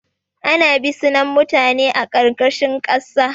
Ana bisinan mutane a ƙarƙashin ƙasa